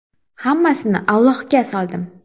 Hammasini Allohga soldim.